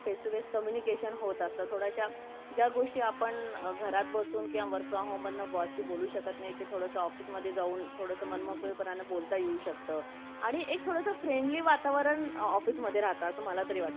face to face communication होत असतात थोड्याशी जय गोष्टी आपण घरत बसून किवा work from home मधन boss सही बोलू शकत नाही ते office वरुण थोडा मन मोकळ्या पण ने बोलत येऊ शकता आणि एक थोडासा friendly वातावरण ऑफिसमदे राहता असा मला तरी वाटते